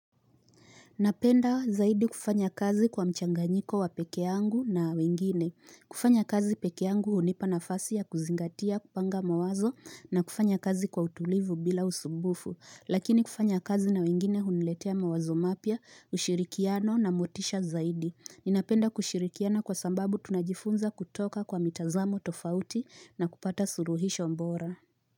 Napenda zaidi kufanya kazi kwa mchanganyiko wa peke angu na wengine. Kufanya kazi peke angu hunipa na fasi ya kuzingatia kupanga mawazo na kufanya kazi kwa utulivu bila usumbufu. Lakini kufanya kazi na wengine huniletea mawazo mapya, ushirikiano na motisha zaidi. Ninapenda kushirikiana kwa sababu tunajifunza kutoka kwa mitazamo tofauti na kupata suruhisho mbora.